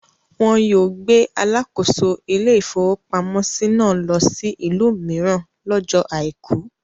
Wọn yóò gbé alakoso ilé-ìfowópamọ́sí náà lọ sí ìlú mìíràn lọ́jọ́ àìkú.